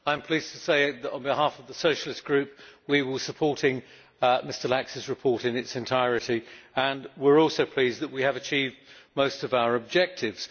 I am pleased to say that, on behalf of the Socialist Group, we will be supporting his report in its entirety. We are also pleased that we have achieved most of our objectives.